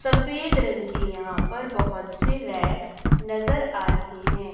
सफेद रंग के यहां पर बहुत से रैक नजर आ रही हैं।